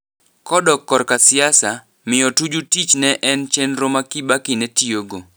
Kodok korka siasa, mio Tuju tich ne en chenro ma Kibaki ne tio go.